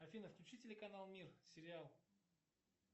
афина включи телеканал мир сериал